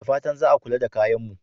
Da fatan za a kula da kayan mu.